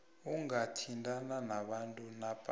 ungathintana nabantu napa